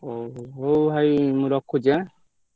ହଉ, ହଉ ହଉ ଭାଇ ମୁଁ ରଖୁଛି ଆଁ।